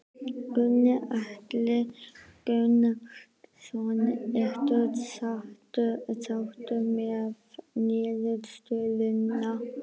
Gunnar Atli Gunnarsson: Ertu sáttur með niðurstöðuna?